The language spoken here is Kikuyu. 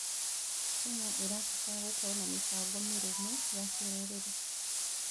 Kenya ĩrabatara gũkorwo na mĩbango mĩrũmu ya kĩrũrĩrĩ.